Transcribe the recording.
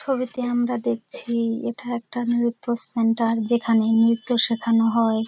ছবিতে আমরা দেখছি-ই এটা একটা নৃত্য সেন্টার যেখানে নৃত্য সেখান হয়।